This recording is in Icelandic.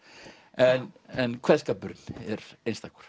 en en kveðskapurinn er einstakur